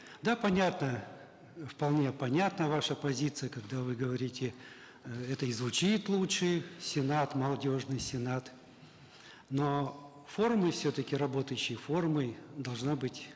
да понятно вполне понятна ваша позиция когда вы говорите э это и звучит лучше сенат молодежный сенат но формой все таки работающей формой должна быть